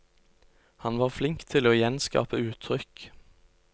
Han var flink til å gjenskape uttrykk.